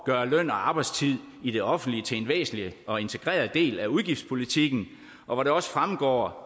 gøre løn og arbejdstid i det offentlige til en væsentlig og integreret del af udgiftspolitikken og hvor det også fremgår